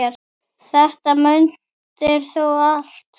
Þetta mundir þú allt.